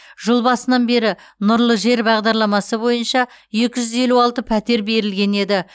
жыл басынан бері нұрлы жер бағдарламасы бойынша екі жүз елу алты пәтер берілген еді